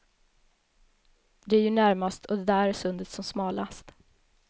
Det är ju närmast och där är sundet som smalast.